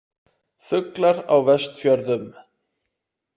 Fuglar á Vestfjörðum